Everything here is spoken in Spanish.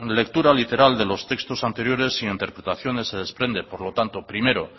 lectura literal de los textos anteriores e interpretaciones se desprende por lo tanto primero